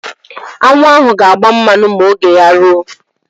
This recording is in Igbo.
Aṅụ ahụ ga-agba mmanụ ma oge ya ruo.